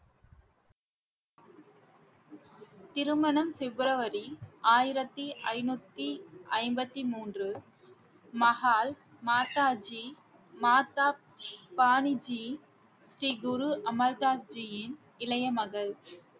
திருமணம் பிப்ரவரி ஆயிரத்தி ஐநூத்தி ஐம்பத்தி மூன்று மஹால் மாதாஜி மாதா வாணிஜி ஸ்ரீ குரு அமர்தாஸ்ரீயின் இளைய மகள்